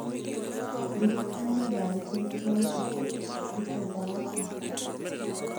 ndĩrikania thaa igĩrĩ cia ũtukũ, ndute ndawa ciakwa